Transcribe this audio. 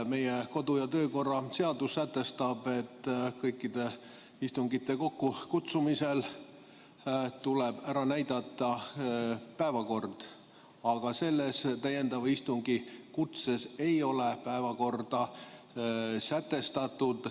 Meie kodu- ja töökorra seadus sätestab, et kõikide istungite kokkukutsumisel tuleb ära näidata päevakord, aga selles täiendava istungi kutses ei ole päevakorda sätestatud.